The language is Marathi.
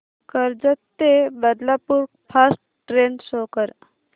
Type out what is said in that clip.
कर्जत ते बदलापूर फास्ट ट्रेन शो कर